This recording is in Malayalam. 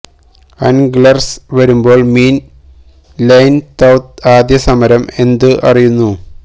അന്ഗ്ലെര്സ് വരുമ്പോൾ മീൻ ലൈൻ തൌത് ആദ്യ സമരം എന്തു അറിയുന്നു